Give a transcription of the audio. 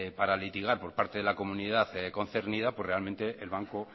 para litigar por parte de la comunidad concernida pues realmente el banco